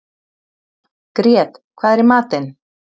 Grét, hvað er í matinn?